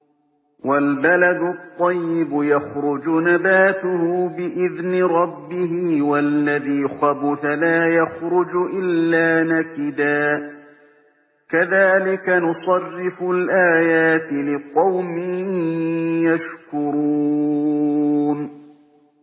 وَالْبَلَدُ الطَّيِّبُ يَخْرُجُ نَبَاتُهُ بِإِذْنِ رَبِّهِ ۖ وَالَّذِي خَبُثَ لَا يَخْرُجُ إِلَّا نَكِدًا ۚ كَذَٰلِكَ نُصَرِّفُ الْآيَاتِ لِقَوْمٍ يَشْكُرُونَ